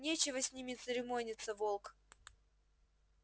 нечего с ними церемониться волк